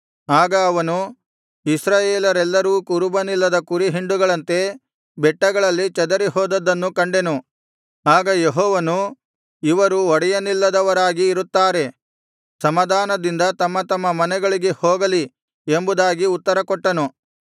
ಆಗ ಅವನು ಇಸ್ರಾಯೇಲರೆಲ್ಲರೂ ಕುರುಬನಿಲ್ಲದ ಕುರಿ ಹಿಂಡುಗಳಂತೆ ಬೆಟ್ಟಗಳಲ್ಲಿ ಚದರಿ ಹೋದದ್ದನ್ನು ಕಂಡೆನು ಆಗ ಯೆಹೋವನು ಇವರು ಒಡೆಯನಿಲ್ಲದವರಾಗಿ ಇರುತ್ತಾರೆ ಸಮಾಧಾನದಿಂದ ತಮ್ಮ ತಮ್ಮ ಮನೆಗಳಿಗೆ ಹೋಗಲಿ ಎಂಬುದಾಗಿ ಉತ್ತರಕೊಟ್ಟನು